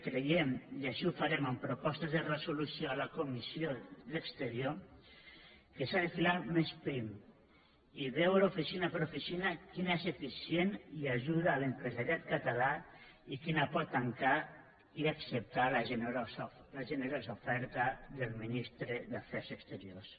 creiem i així ho farem amb propostes de resolució a la comissió d’exterior que s’ha de filar més prim i veure oficina per oficina quina és eficient i ajuda l’empresariat català i quina pot tancar i acceptar la generosa oferta del ministre d’afers exteriors